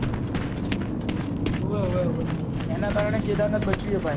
હુયે હુયે હુયે એના કારણે કેદારનાથ બચ્યું એ ભાઈ